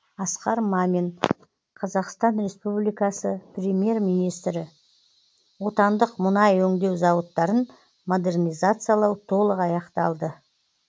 асқар мамин қазақстан республикасы премьер министрі отандық мұнай өңдеу зауыттарын модернизациялау толық аяқталды